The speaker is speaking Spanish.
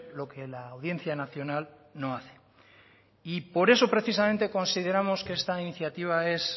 lo que la audiencia nacional no hace y por eso precisamente consideramos que esta iniciativa es